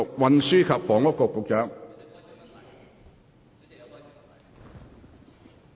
運輸及房屋局局長。